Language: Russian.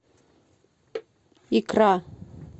икра